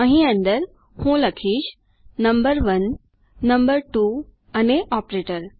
અહીં અંદર હું લખીશ નંબર1 નંબર2 અને ઓપરેટર